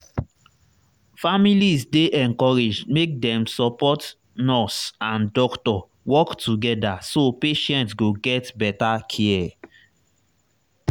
families dey encouraged make dem support nurse and doctor work together so patient go get better care.